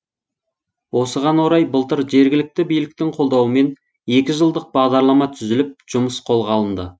осыған орай былтыр жергілікті биліктің қолдауымен екі жылдық бағдарлама түзіліп жұмыс қолға алынды